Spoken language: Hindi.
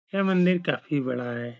है मंदिर काफी बड़ा है।